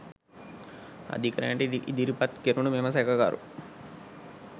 අධිකරණයට ඉදිරිපත් කෙරුණු මෙම සැකකරු